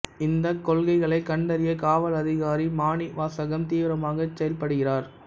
இந்த கொள்ளைகளை கண்டறிய காவல் அதிகாரி மாணிவாசகம் தீவிரமாக செயல்படுகிறார்